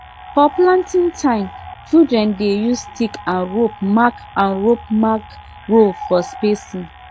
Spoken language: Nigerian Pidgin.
for planting time children dey use stick and rope mark and rope mark row for spacing